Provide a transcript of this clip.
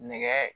Nɛgɛ